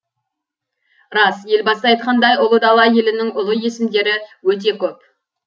рас елбасы айтқандай ұлы дала елінің ұлы есімдері өте көп